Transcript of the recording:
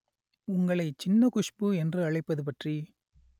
உங்களை சின்ன குஷ்பு என்று அழைப்பது பற்றி